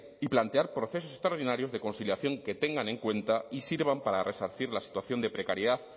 y plantear procesos extraordinarios de conciliación que tengan en cuenta y sirvan para resarcir las situación de precariedad